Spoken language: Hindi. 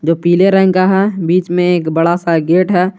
पीले रंग का है बीच में एक बड़ा सा गेट है।